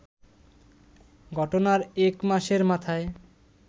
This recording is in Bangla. ঘটনার এক মাসের মাথায়